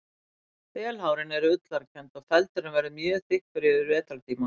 Þelhárin eru ullarkennd og feldurinn verður mjög þykkur yfir vetrartímann.